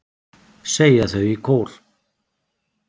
segja þau í kór.